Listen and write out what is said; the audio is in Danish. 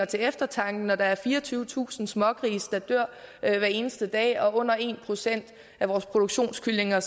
til eftertanke at der er fireogtyvetusind smågrise der dør hver eneste dag og at under en procent af vores produktionskyllinger